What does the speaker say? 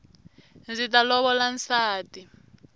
ndzi ta lovola nsati